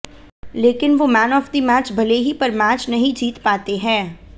लेकिन वो man of the match भले ही पर मैच नहीं जीत पाते हैं